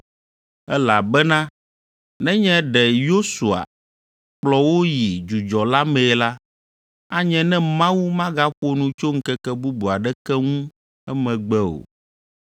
Elabena nenye ɖe Yosua kplɔ wo yi dzudzɔ la mee la, anye ne Mawu magaƒo nu tso ŋkeke bubu aɖeke ŋu emegbe o.